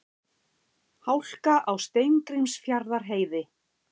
Hálka á Steingrímsfjarðarheiði